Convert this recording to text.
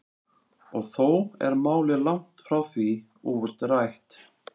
Og þó er málið langt frá því útrætt.